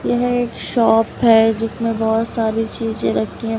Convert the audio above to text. यह एक शॉप है जिसमें बहुत सारी चीजें रखे--